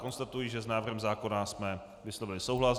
Konstatuji, že s návrhem zákona jsme vyslovili souhlas.